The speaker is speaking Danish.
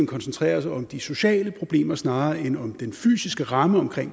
koncentrere os om de sociale problemer snarere end om den fysiske ramme omkring